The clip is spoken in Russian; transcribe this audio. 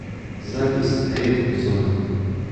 запись ремзона